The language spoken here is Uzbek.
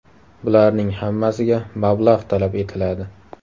Bularning hammasiga mablag‘ talab etiladi.